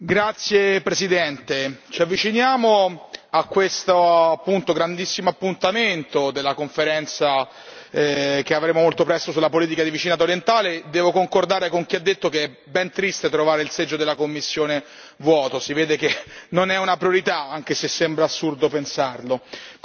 Signora Presidente, onorevoli colleghi, ci avviciniamo a questo grandissimo appuntamento della conferenza che avremo molto presto sulla politica di vicinato orientale. Devo concordare con chi ha detto che è ben triste trovare il seggio della Commissione vuoto si vede che non è una priorità, anche se sembra assurdo pensarlo.